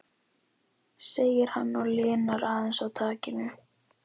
segir hann og linar aðeins á takinu.